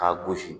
K'a gosi